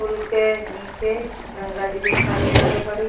पुल के नीचे गंगाजी दिखाई दे रहल बाड़ी।